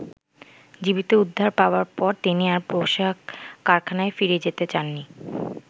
জীবিত উদ্ধার পাবার পর তিনি আর পোশাক কারখানায় ফিরে যেতে চাননি।